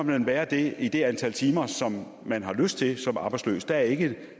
man være det i det antal timer som man har lyst til som arbejdsløs der er ikke